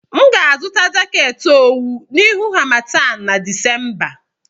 M ga-azụta jaket owu n'ihu harmattan na Disemba.